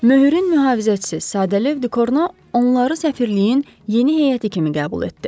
Möhürün mühafizəçisi Sadelyöf Dükorno onları səfirliyin yeni heyəti kimi qəbul etdi.